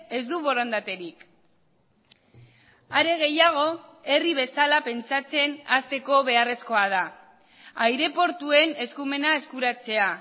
ez du borondaterik are gehiago herri bezala pentsatzen hasteko beharrezkoa da aireportuen eskumena eskuratzea